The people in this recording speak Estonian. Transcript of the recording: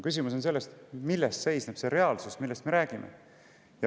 Küsimus on selles, milles seisneb see reaalsus, millest me räägime.